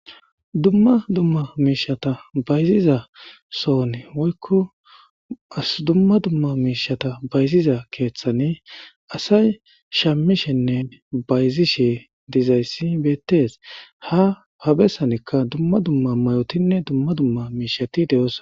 Dumma dumma miishshata bayziza sooni woykko qasi dumma dumma miishata bayziza keeththani asay shammishennen bayzishe dizayssi beettes ha habessanikka dumma dumma mayotinne dumma dumma miishshati de'os